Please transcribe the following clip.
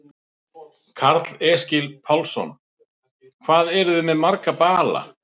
Karl Eskil Pálsson: Hvað eruð þið með marga bala?